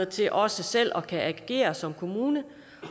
til også selv at agere som kommune